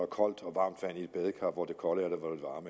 koldt og varmt vand i et badekar hvor det kolde og